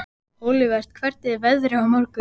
Olivert, hvernig er veðrið á morgun?